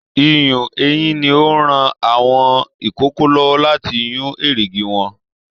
Iyùn eyìn ní o n rán àwọn ikòkò lọwọ láti yun erigi wọn.